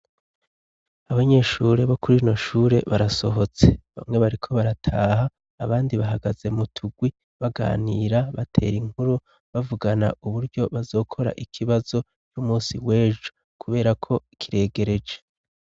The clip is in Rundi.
Abanyeshure bo kurinoshure barasohotse bamwe bariko barataha abandi bahagaze mu tugwi baganira batera inkuru bavugana uburyo bazokora ikibazo k'umusi wejo kuberako kiregereje.